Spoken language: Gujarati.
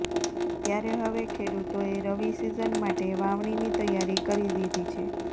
ત્યારે હવે ખેડૂતોએ રવિ સિઝન માટે વાવણીની તૈયારી કરી દીધી છે